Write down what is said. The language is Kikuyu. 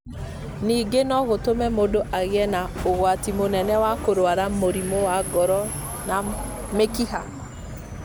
Ningĩ no gũtũme mũndũ agĩe na ũgwati mũnene wa kũrũara mũrimũ wa ngoro na mĩkiha.